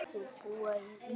Þau búa í Rifi.